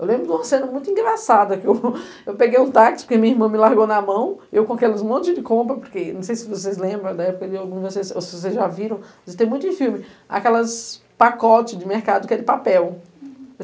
Eu lembro de uma cena muito engraçada, que eu, eu peguei um táxi, porque minha irmã me largou na mão, eu com aqueles montes de compra, porque não sei se vocês lembram da época de alguma de vocês, ou se vocês já viram, tem muito em filme, aquelas pacotes de mercado que é de papel. Uhum